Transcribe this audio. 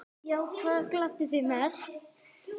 Já Hvað gladdi þig mest?